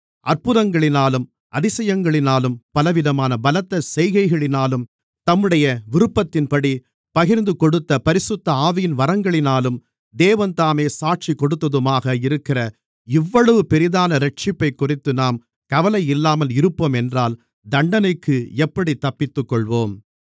அற்புதங்களினாலும் அதிசயங்களினாலும் பலவிதமான பலத்த செய்கைகளினாலும் தம்முடைய விருப்பத்தின்படி பகிர்ந்துகொடுத்த பரிசுத்த ஆவியின் வரங்களினாலும் தேவன்தாமே சாட்சி கொடுத்ததுமாக இருக்கிற இவ்வளவு பெரிதான இரட்சிப்பைக்குறித்து நாம் கவலை இல்லாமல் இருப்போம் என்றால் தண்டனைக்கு எப்படித் தப்பித்துக்கொள்ளுவோம்